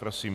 Prosím.